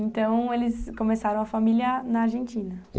Então, eles começaram a família na Argentina.